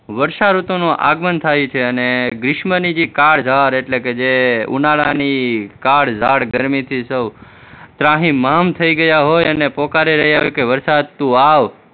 વર્ષાઋતુનું આગમન થાય છે અને ગ્રીષ્મની જે કાળજાળ એટલે કે જે ઉનાળાની કાળજાળ ગરમીથી સૌ ત્રાહિમામ થઇ ગયા હોય અને પોકારી રહ્યા હોય કે વરસાદ તું આવ